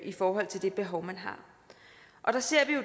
i forhold til det behov man har og der ser vi